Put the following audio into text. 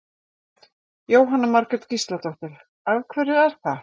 Jóhanna Margrét Gísladóttir: Af hverju er það?